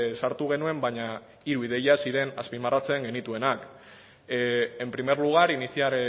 sartu genuen baina hiru ideia ziren azpimarratzen genituenak en primer lugar iniciar